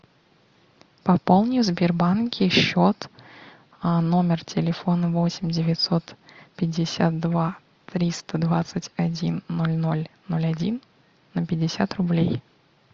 пополни в сбербанке счет номер телефона восемь девятьсот пятьдесят два триста двадцать один ноль ноль ноль один на пятьдесят рублей